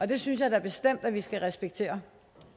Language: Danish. det synes jeg da bestemt at vi skal respektere